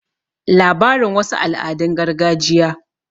labarin wasu al'adun gargajiya